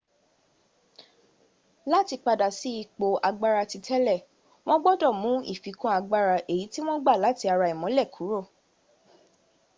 láti padà sí ipò agbára titélè wọn gbọdọ̀ mú ìfikún agbára èyí tí wọn gba láti ara ìmólẹ̀ kúrò